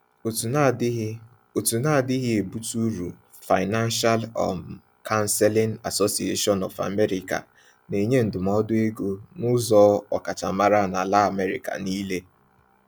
Òtù na-adịghị Òtù na-adịghị ebutu uru, Financial um Counseling Association of America, na-enye ndụmọdụ ego n’ụzọ ọkachamara n’ala America niile.